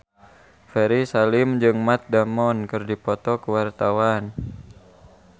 Ferry Salim jeung Matt Damon keur dipoto ku wartawan